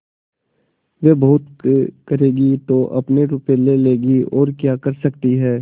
वे बहुत करेंगी तो अपने रुपये ले लेंगी और क्या कर सकती हैं